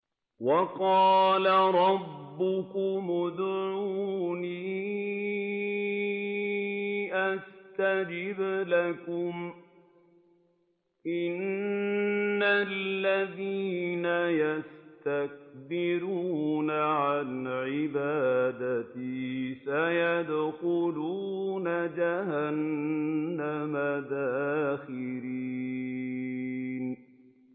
وَقَالَ رَبُّكُمُ ادْعُونِي أَسْتَجِبْ لَكُمْ ۚ إِنَّ الَّذِينَ يَسْتَكْبِرُونَ عَنْ عِبَادَتِي سَيَدْخُلُونَ جَهَنَّمَ دَاخِرِينَ